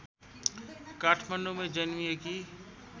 काठमाडौँंमै जन्मिएकी